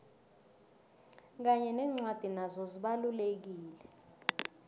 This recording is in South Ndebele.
kanye nencwadi nazo zibalulekile